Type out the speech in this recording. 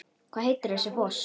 Hvað heitir þessi foss?